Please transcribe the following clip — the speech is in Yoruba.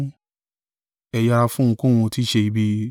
Ẹ yẹra fún ohunkóhun tí í ṣe ibi.